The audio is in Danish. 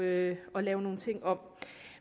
at lave nogle ting om